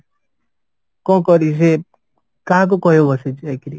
କଣ କରିବି ସେ କାହାକୁ କହି ବସି ଯାଇକିରି